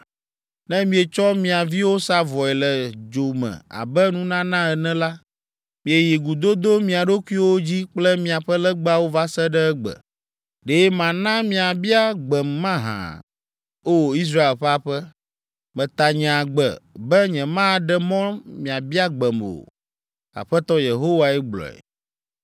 Ne mietsɔ mia viwo sa vɔe le dzo me abe nunana ene la, mieyi gudodo mia ɖokuiwo dzi kple miaƒe legbawo va se ɖe egbe. Ɖe mana miabia gbem mahã, O! Israel ƒe aƒe? Meta nye agbe be nyemaɖe mɔ miabia gbem o’ Aƒetɔ Yehowae gblɔe.